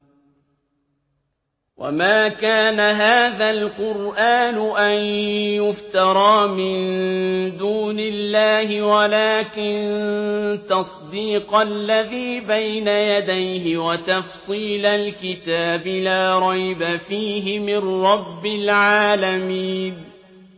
وَمَا كَانَ هَٰذَا الْقُرْآنُ أَن يُفْتَرَىٰ مِن دُونِ اللَّهِ وَلَٰكِن تَصْدِيقَ الَّذِي بَيْنَ يَدَيْهِ وَتَفْصِيلَ الْكِتَابِ لَا رَيْبَ فِيهِ مِن رَّبِّ الْعَالَمِينَ